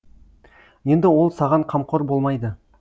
енді ол саған қамқор болмайды